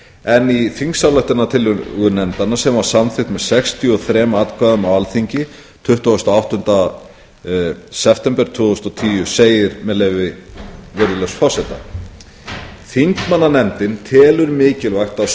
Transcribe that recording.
en í þingsályktunartillögu nefndarinnar sem samþykkt var með sextíu og þremur atkvæðum á alþingi tuttugasta og áttunda september tvö þúsund og tíu segir með leyfi virðulegs forseta þingmannanefndin telur mikilvægt að